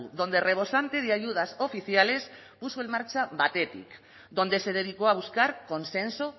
donde rebosante de ayudas oficiales puso en marcha baketik donde se dedicó a buscar consenso